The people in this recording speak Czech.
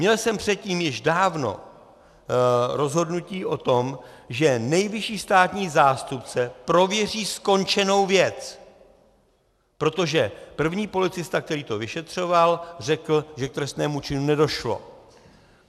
Měl jsem předtím již dávno rozhodnutí o tom, že nejvyšší státní zástupce prověří skončenou věc, protože první policista, který to vyšetřoval, řekl, že k trestnému činu nedošlo.